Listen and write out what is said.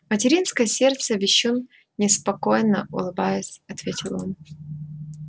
материнское сердце-вещун неспокойно улыбаясь ответил он